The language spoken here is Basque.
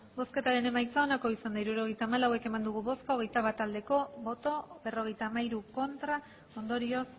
hirurogeita hamalau eman dugu bozka hogeita bat bai berrogeita hamairu ez ondorioz